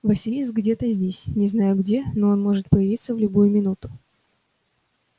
василиск где-то здесь не знаю где но он может появиться в любую минуту